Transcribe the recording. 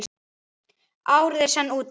Árið er senn úti.